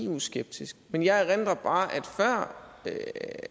eu skeptisk men jeg erindrer bare